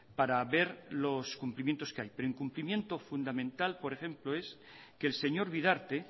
para ver los cumplimientos que hay pero incumplimiento fundamental por ejemplo es que el señor bidarte